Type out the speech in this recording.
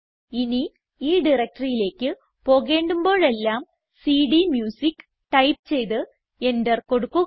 ഇനി ഈ directoryയിലേക്ക് പോകേണ്ടുമ്പോഴെല്ലാം സിഡിഎംയൂസിക്ക് ടൈപ്പ് ചെയ്ത് എന്റർ കൊടുക്കുക